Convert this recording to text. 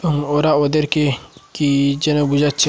ওরা ওদেরকে কি যেন বুঝাচ্ছে।